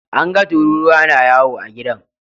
An ga tururuwa na yawo a gidan.